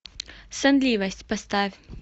сонливость поставь